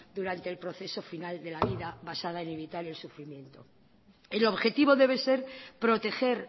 durante el proceso final de la vida basada en evitar el sufrimiento el objetivo debe ser proteger